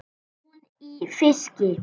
Hún í fiski.